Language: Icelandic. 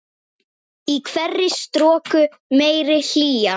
Í hverri stroku meiri hlýja.